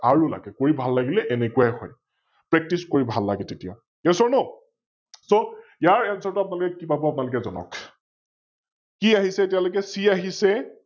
আৰু লাগে কৰি ভাল লাগিলে এনেকোৱাই হয় । Practice কৰি ভাল লাগে তেতিয়া । YesOrNoSo ইয়াৰ Answer টো আপোনালোকে কি পাব, আপোনালোকে জনাওক? কি আহিছে এতিয়ালৈকে C আহিছে